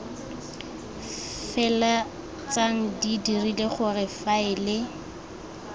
feleltsang di dirile gore faele